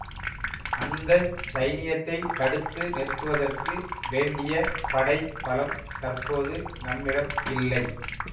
அந்த சைனியத்தைத் தடுத்து நிறுத்துவதற்கு வேண்டிய படை பலம் தற்போது நம்மிடம் இல்லை